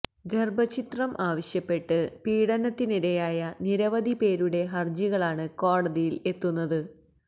ഗര്ഭഛിദ്രം ആവശ്യപ്പെട്ട് പീഡനത്തിനിരയായ നിരവധി പേരുടെ ഹര്ജികളാണ് കോടതിയില് എത്തുന്നത്